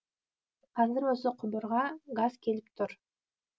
қазір осы құбырға газ келіп тұр